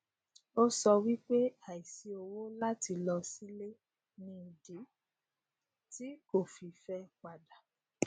ó sọ wípé àìsí owó láti lọ sílé ni ìdí tí kò fi fẹ padà